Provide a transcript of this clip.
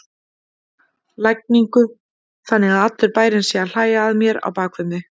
lægingu, þannig að allur bærinn sé að hlæja að mér á bak við mig.